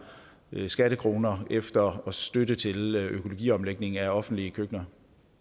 skattekroner efter støtte til økologiomlægning af offentlige køkkener